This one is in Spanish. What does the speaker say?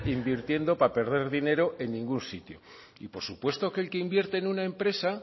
invirtiendo para perder dinero en ningún sitio y por supuesto que el que invierte en una empresa